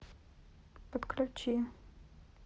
подключи